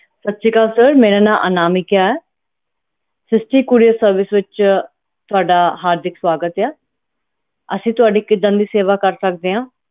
ਸਤਿ ਸ੍ਰੀ ਅਕਾਲ sir ਮੇਰਾ ਨਾਮ ਅਨਾਮਿਕ ਹੈ ਜੱਸੀ couriercourierservice ਵਿਚ ਤੁਹਾਡਾ ਸਵਾਗਤ ਹੈ ਅਸੀਂ ਤੁਹਾਡੀ ਕਿੱਦਾਂ ਮਦਦ ਕਰ ਸਕਦੇ ਆ